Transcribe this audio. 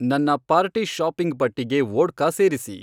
ನನ್ನ party shopping ಪಟ್ಟಿಗೆ vodka ಸೇರಿಸಿ